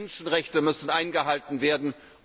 Die Menschenrechte müssen eingehalten werden.